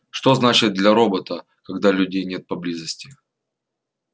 что значит для робота когда людей нет поблизости